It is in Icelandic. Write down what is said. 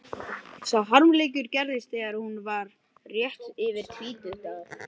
Sá harmleikur gerðist þegar hún var rétt yfir tvítugt að